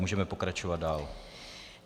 Můžeme pokračovat dál.